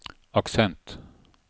aksent